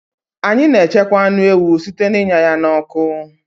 Anyị na-echekwa anụ ewu site n'ịnya ya n'ọkụ